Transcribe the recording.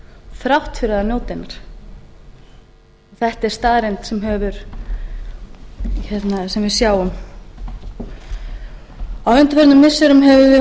þrátt fyrir að njóta hennar þetta er staðreynd sem við sjáum á undanförnum missirum höfum við horft upp